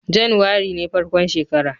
Januwari ne farkon shekara